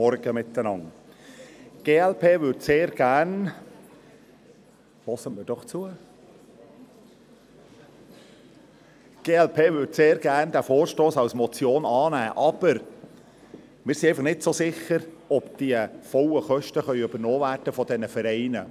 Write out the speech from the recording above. Die glp würde diesen Vorstoss sehr gerne als Motion annehmen, aber wir sind einfach nicht so sicher, ob die vollen Kosten von den Vereinen übernommen werden können.